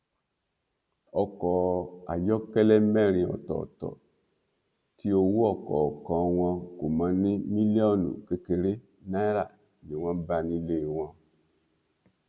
ọkọ ayọkẹlẹ mẹrin ọtọọtọ tí owó ọkọọkan wọn kò mọ ní mílíọnù kékeré náírà ni wọn bá nílé wọn